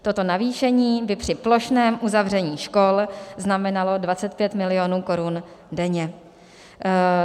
Toto navýšení by při plošném uzavření škol znamenalo 25 milionů korun denně.